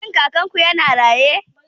Shin Kakanku yana raye?